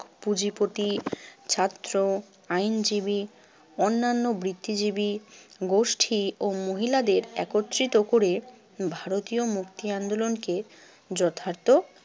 পুঁজিপতি, ছাত্র, আইনজীবী, অন্যান্য বৃত্তিজীবী গোষ্ঠী ও মহিলাদের একত্রিত করে ভারতীয় মুক্তি আন্দোলনকে যথার্থ